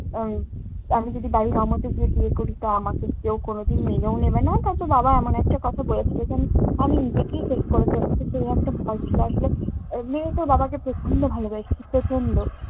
উম আমি যদি বাড়ির অমতে গিয়ে বিয়ে করি, তা আমাকে কেউ কোনোদিন মেনেও নিবে না। হয়তো বাবা এমন একটা কথা বলে ফেলবে, আমি~ আমি নিজেকেই শেষ করে ফেলবো। তো সেই একটা ভয় ছিল, আসলে এমনিই তো বাবাকে প্রচন্ড ভালোবাসি প্রচন্ড